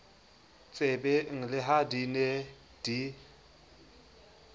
tsebeng le ha di ne